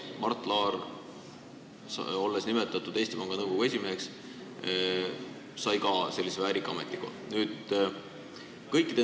Mart Laar, olles nimetatud Eesti Panga Nõukogu esimeheks, sai ka sellise väärika ametikoha.